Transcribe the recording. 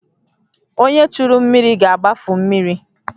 Onye churu mmiri ga-agbafu mmiri